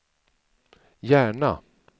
Järna